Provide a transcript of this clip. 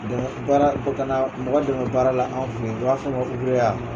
baara ka na mɔgɔ dɛmɛ baara la an fɛ yen o b'a f'a ma ya.